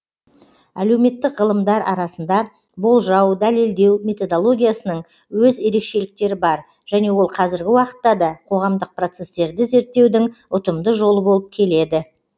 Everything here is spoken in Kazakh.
әлеуметтік ғылымдар арасында болжау дәлелдеу методологиясының өз ерекшеліктері бар және ол қазіргі уақытта да қоғамдық процестерді зерттеудің ұтымды жолы болып келеді